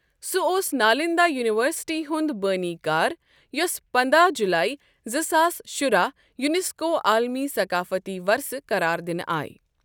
سُہ اوس نالندہ یونیورسٹی ہُنٛد بٲنی کار یۄسہٕ پنداہ جولائی زٕ ساس شُراہ یونیسکو عالمی ثقافتی ورثہ قرار دِنہٕ آیہِ ۔